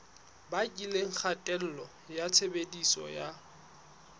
bakileng kgatello ya tshebediso ya